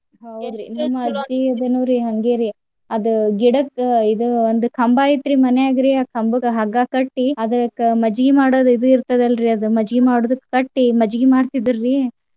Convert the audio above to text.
ಅದುನಿರಿ ಹಂಗೇರಿ. ಅದ್ ಗಿಡಕ್ಕ್ ಇದ್ ಒಂದ್ ಕಂಬಾ ಐತ್ರಿ ಮನ್ಯಾಗ್ರಿ ಆ ಕಂಬಕ್ಕ ಹಗ್ಗಾ ಕಟ್ಟಿ ಅದರಕ್ಕ್ ಮಜ್ಜಗಿ ಮಾಡೋದ್ ಇದು ಇರ್ತದಲ್ರಿ ಅದ್ ಮಜ್ಜಗಿ ಮಾಡೋದ್ ಕಟ್ಟಿ ಮಜ್ಜಗಿ ಮಾಡ್ತಿದ್ರಿ.